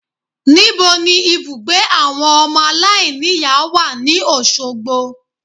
Níbo ni ibùgbé àwọn ọmọ aláìníìyá wà ní Òsogbo